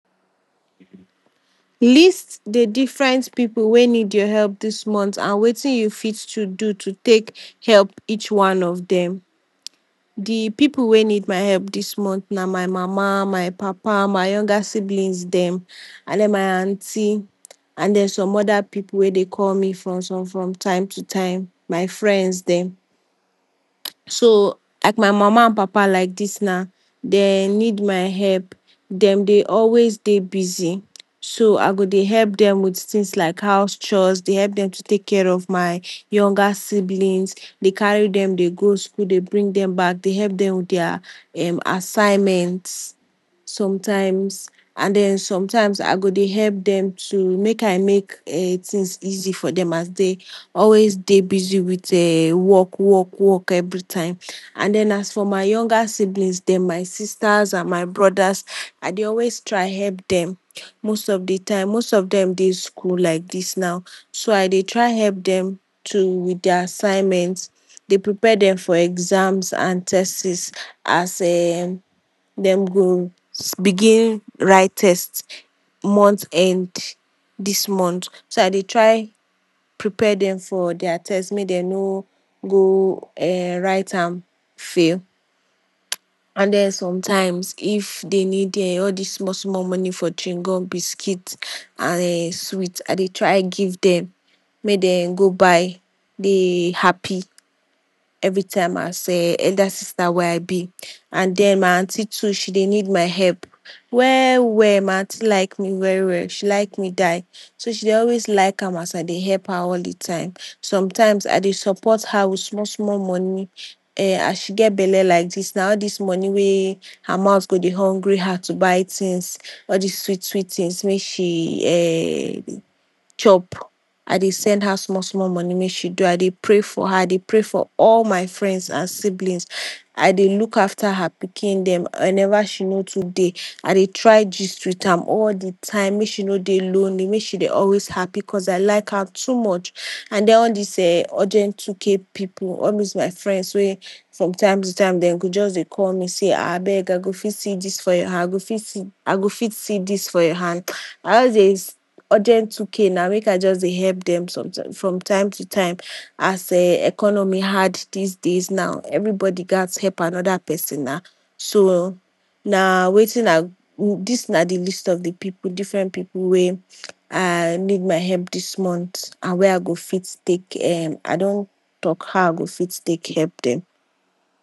List de different pipu wey need your help dis month and wetin you fit do to take help each one of dem? De pipu wey need my help dis month na my mama, my papa, my younger siblings dem and my aunty and some other pipu wey dey call me from time to time, my friends dem. So like my mama and papa like dis now, dey need my help dem dey always dey busy so I go dey help dem with things like house chores, dey help dem to take care of m younger siblings, dey carry dem dey go school dey bring dem back dey help dem with their assignment sometimes and den sometimes I go dey help dem with dem too make I make things easy for dem as dey dey busy with um work work work every time and as for my younger siblings dem as for my sisters and my brothers I dey always try help dem most of de time most of dem dey school like dis now, so I dey try help dem too with their assignment, dey prepare dem for exams and tests as um dem go begin write test month end dis month so I dey try prepare dem for their test make dem no go write am fail and den sometimes if dem need all dis small small money for chew gum, biscuits, and sweets I dey try give dem make dem go buy dey happy everytime as elder sister wey I be and den my aunty too e dey need my help well well, my aunty like me well well she like me die so she dey always like am as I dey help her all de time, sometimes I dey support her with small small money, as she get belle like dis now all dis money wey her mouth go dey hungry am to buy things. All dis sweet sweet things wey she um dey chop I dey send her small small money make she do I dey pray for her I dey pray for all my friends and siblings. I dey look after her pikin dem whenever she no too dey I dey try gist with am all de time make she no dey lonely make she dey always happy cause I like her too much and all dis um urgent two k pipu, all dis my friends wey from time to time dem go just dey sey abeg I go fit see dis for your hand I go fit see dis, I go fit see dis for your hand I just dey, urgent two k na make I just dey help dem from time to time as economy hard these days everybody gat help another person na so na wetin I dey, dis na de list of de different pipu wey I, need my help dis month and when I go fit take um I don talk how I go fit take help dem.